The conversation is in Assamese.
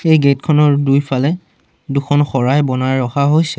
এই গেট খনৰ দুইফালে দুখন শৰাই বনাই ৰখা হৈছে।